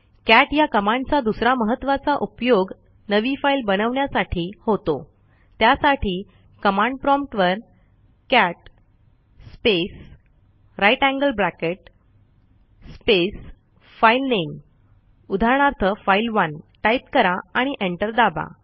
cat ह्या कमांडचा दुसरा महत्त्वाचा उपयोग नवी फाईल बनवण्यासाठी होतो त्यासाठी कमांड प्रॉम्प्ट वर cat space greater than sign space filename उदाहरणार्थफाइल1 टाईप करा आणि एंटर दाबा